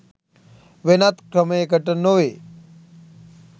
වෙනත් ක්‍රමයකට නො වේ